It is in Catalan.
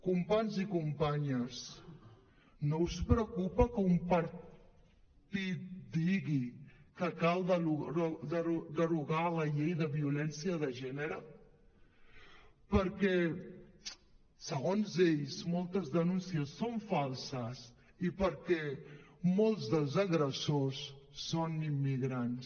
companys i companyes no us preocupa que un partit digui que cal derogar la llei de violència de gènere perquè segons ells moltes denúncies són falses i perquè molts dels agressors són immigrants